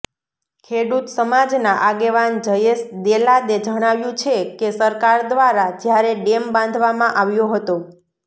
ખેડૂત સમાજના આગેવાન જયેશ ડેલાદે જણાવ્યું છે કે સરકાર દ્વારા જ્યારે ડેમ બાંધવામાં આવ્યો હતો